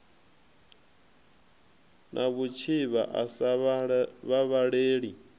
na vhutshivha a sa vhavhaleli